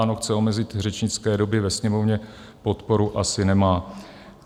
ANO chce omezit řečnické doby ve Sněmovně, podporu asi nemá.